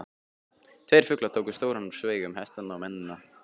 Tveir fuglar tóku stóran sveig um hestana og mennina.